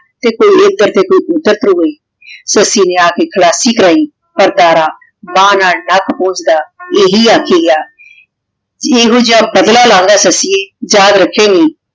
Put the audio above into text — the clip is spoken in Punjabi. ਤੇ ਕੋਈ ਐਡਰ ਤੇ ਕੋਈ ਉਦਰ ਸੱਸੀ ਨੇ ਆ ਕੇ ਖਲਾਸੀ ਕਰਾਈ ਪਰ ਦਾਰਾ ਬਾਨ ਨਾਲ ਪੋੰਜ੍ਦਾ ਇਹੀ ਆਖੀ ਗਯਾ ਏਹੋ ਜੇਹਾ ਬਦਲਾ ਲਾਂ ਗਾ ਸੱਸੀਏ ਯਾਦ ਰਖੇੰ ਗੀ